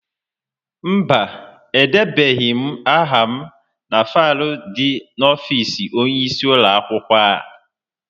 Mba, edebeghị m aha na faịlu dị n'ọfịịsi onyeisi ụlọakwụkwọ.